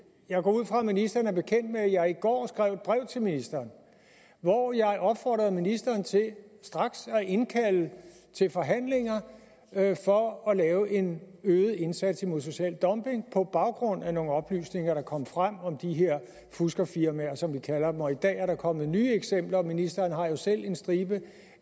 jeg går ud fra ministeren er bekendt med at jeg i går skrev et brev til ministeren hvor jeg opfordrede ministeren til straks at indkalde til forhandlinger for at lave en øget indsats mod social dumping på baggrund af nogle oplysninger der kom frem om de her fuskerfirmaer som vi kalder dem og i dag er der kommet nye eksempler ministeren har jo selv en stribe